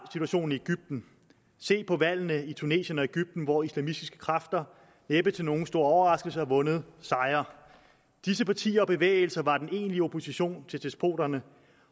situationen i egypten se på valgene i tunesien og egypten hvor islamistiske kræfter næppe til nogen stor overraskelse har fået sejre disse partier og bevægelser var den egentlige opposition til despoterne